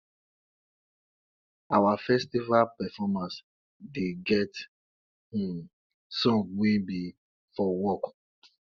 our festival performance dey get um songs wey be for work